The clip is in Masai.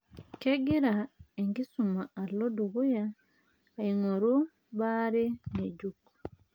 Kegira enkisuma alo dukuya aing'oru bare ng'ejuk.